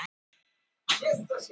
Holtagörðum